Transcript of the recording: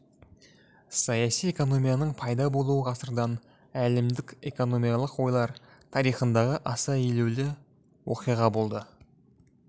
саяси экономияның пайда болуы ғасырдан әлемдік экономикалық ойлар тарихындағы аса елеулі оқиға болды